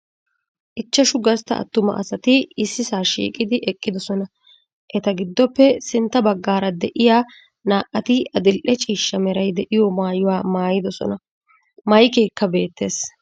Ichchashshu gastta attuma asati ississaa shiiqqi eqqidosona. Eta giddoppe sintta baggaara de'iyaa naa"ati adil"e ciishshaa meray de'iyo maayuwa maayiddosona. Maykkekka beettees.